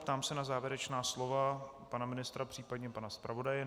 Ptám se na závěrečná slova pana ministra, případně pana zpravodaje.